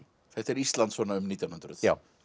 þetta er Ísland svona um nítján hundruð